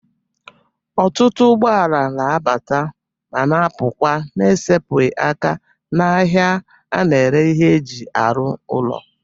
Ọtụtụ ụgbọala na-abata ma na-apụkwa n'esepụghị aka n'ahịa a na-ere ihe e ji arụ ụlọ.